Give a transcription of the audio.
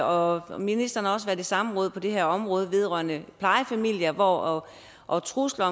og og ministeren har også været i samråd på det her område vedrørende plejefamilier og og trusler